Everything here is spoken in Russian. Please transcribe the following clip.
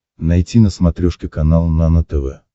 найти на смотрешке канал нано тв